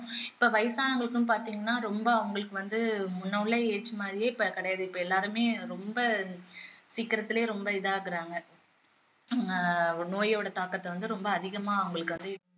இப்போ வயசானவங்களுக்கும் பாத்தீங்கண்ணா ரொம்ப அவங்களுக்கு வந்து முன்ன உள்ள age மாதிரியே இப்போ கிடையாது இப்போ எல்லாருமே ரொம்ப சீக்கிரத்துலேயே ரொம்ப இதாகுறாங்க ஆஹ் நோயோட தாக்கத்தை வந்து ரொம்ப அதிகமா அவங்களுக்கு அது